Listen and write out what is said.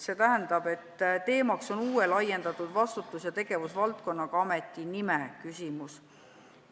See tähendab, et teemaks on uue laiendatud vastutus- ja tegevusvaldkonnaga ameti nime küsimus.